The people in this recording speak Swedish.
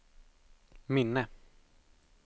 minne